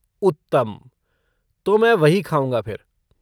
उत्तम! तो मैं वही खाऊँगा फिर।